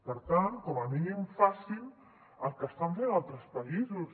per tant com a mínim facin el que estan fent altres països